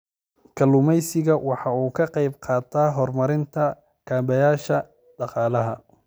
Kalluumaysigu waxa uu ka qayb qaataa horumarinta kaabayaasha dhaqaalaha.